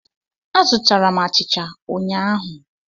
Azụtara m achicha ụnyahụ.